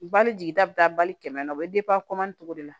Bali jigi da bɛ taa bali kɛmɛ na o bɛ cogo de la